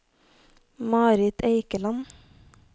Marit Eikeland